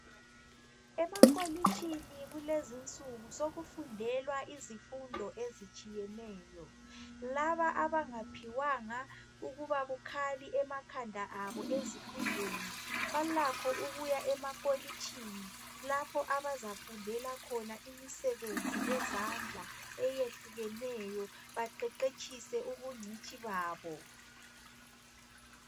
Emakolitshini kulezinsuku sokufundelwa izifundo ezitshiyeneyo. Laba abangaphiwanga ukuba bukhali emakhanda abo ezifundweni balakho ukuya emakolitshini lapho abazafundela khona imisebenzi yezandla eyehlukeneyo baqeqetshise ubungcitshi babo .